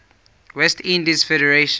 west indies federation